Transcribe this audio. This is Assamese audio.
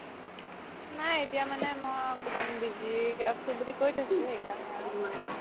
নাই এতিয়া মানে মই একমাণ busy আছো বুলি কই থই দিছো আৰু